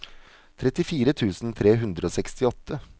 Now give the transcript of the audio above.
trettifire tusen tre hundre og sekstiåtte